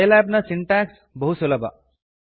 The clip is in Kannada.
ಸೈಲ್ಯಾಬ್ ನ ಸಿಂಟ್ಯಾಕ್ಸ್ ಬಹು ಸುಲಭ